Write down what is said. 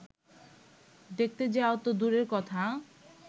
দেখতে যাওয়া তো দূরের কথা